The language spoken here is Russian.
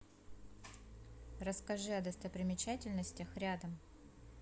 расскажи о достопримечательностях рядом